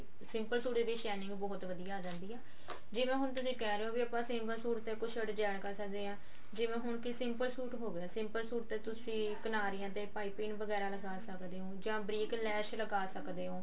simple suit ਦੀ shining ਬਹੁਤ ਵਧੀਆ ਆ ਜਾਂਦੀ ਆ ਜਿਵੇਂ ਹੁਣ ਤੁਸੀਂ ਕਿਹ ਰਹੇ ਹੋ ਵੀ ਆਪਾਂ simple ਸੂਟ ਤੇ ਕੁੱਝ design ਕਰ ਸਕਦੇ ਹਾਂ ਜਿਵੇਂ ਹੁਣ ਕਿ simple ਸੂਟ ਹੋਗਿਆ simple ਸੂਟ ਤੇ ਤੁਸੀਂ ਕਿਨਾਰੀਆਂ ਤੇ ਪਾਈਪਿੰਨ ਵਗੈਰਾ ਲਗਾ ਸਕਦੇ ਹੋ ਜਾਂ ਬਰੀਕ ਲੈਸ ਲਗਾ ਸਕਦੇ ਹੋ